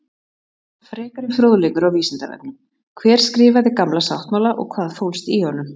Frekari fróðleikur á Vísindavefnum: Hver skrifaði Gamla sáttmála og hvað fólst í honum?